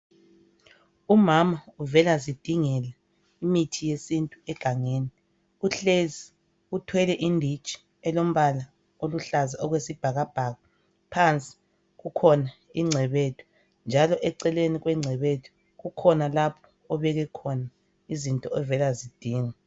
Umama uvela zidingela imithi yesintu egangeni uhlezi uthwele inditshi elombala oluhlaza okwesibhakabhaka phansi kukhona ingcebethu njalo eceleni kwengcebethu kukhona lapho obeke khona izinto ovela zidinga.